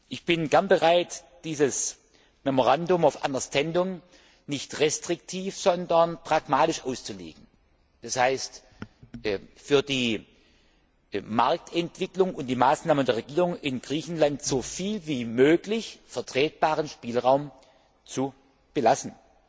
Ich bin gern bereit, dieses Memorandum of Understanding nicht restriktiv, sondern pragmatisch auszulegen, das heißt, für die Marktentwicklung und die Maßnahmen der Regierung in Griechenland so viel wie möglich vertretbaren Spielraum zu belassen.